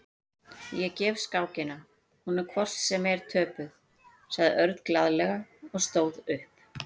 Ég gef skákina, hún er hvort sem er töpuð, sagði Örn glaðlega og stóð upp.